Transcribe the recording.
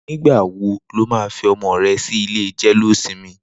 Nigbà wó ló mà fi ọmọ rè si ilé jẹléósìmì?